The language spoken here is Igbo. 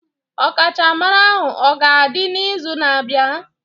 Ọkachamara ahụ ọ ga-adị n'izu na-abịa?